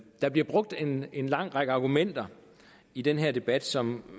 der bliver brugt en en lang række argumenter i den her debat som